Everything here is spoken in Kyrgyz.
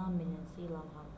наам менен сыйланган